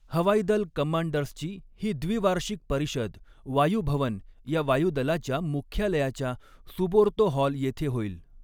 हवाईदल कमांडर्सची ही द्विवार्षिक परिषद वायू भवन या वायूदलाच्या मुख्यालयाच्या सुबोर्तो ह़ॉल येथे होईल.